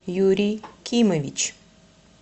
юрий кимович